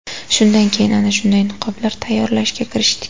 Shundan keyin ana shunday niqoblar tayyorlashga kirishdik.